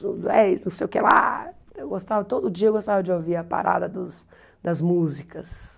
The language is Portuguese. Do dez não o quê lá eu gostava. Todo dia eu gostava de ouvir a parada dos das músicas.